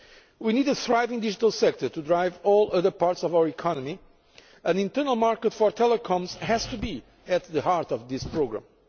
We need a thriving digital sector to drive all other parts of our economy, and the internal market for telecoms has to be at the heart of this programme.